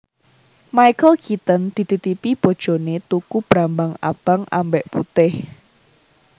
Michael Keaton dititipi bojone tuku brambang abang ambek putih